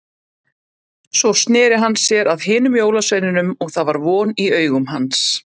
Svo sneri hann sér að hinum jólasveinunum og það var von í augum hans.